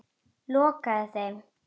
Lokaði þeim.